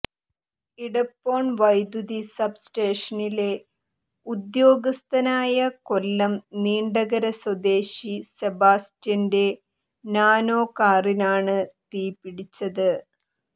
ഇടപ്പോൺ വൈദ്യുതി സബ് സ്റ്റേഷനിലെ ഉദ്യോഗസ്ഥനായ കൊല്ലം നീണ്ടകര സ്വദേശി സെബാസ്റ്റ്യന്റെ നാനോ കാറിനാണ് തീ പിടിച്ചത്